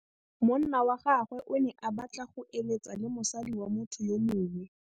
Monna wa gagwe o ne a batla go êlêtsa le mosadi wa motho yo mongwe.